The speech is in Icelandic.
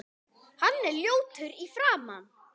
Hann er ljótur í framan.